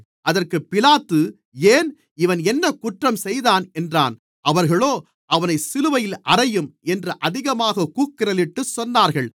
அதற்கு பிலாத்து ஏன் இவன் என்னக் குற்றம் செய்தான் என்றான் அவர்களோ அவனைச் சிலுவையில் அறையும் என்று அதிகமாகக் கூக்குரலிட்டுச் சொன்னார்கள்